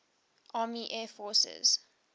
army air forces